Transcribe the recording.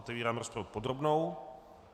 Otevírám rozpravu podrobnou.